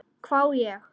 hvái ég.